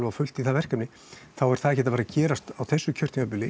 á fullt í það verkefni þá er það ekki að fara gerast á þessu kjörtímabili